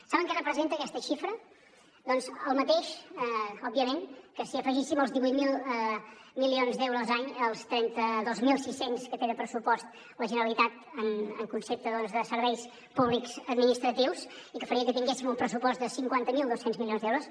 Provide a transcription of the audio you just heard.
saben què representa aquesta xifra doncs el mateix òbviament que si afegíssim els divuit mil milions d’euros any als trenta dos mil sis cents que té de pressupost la generalitat en concepte de serveis públics administratius i que faria que tinguéssim un pressupost de cinquanta mil dos cents milions d’euros